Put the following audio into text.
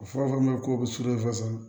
U fɔ min ma ko surefasa